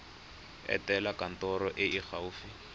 etela kantoro e e gaufi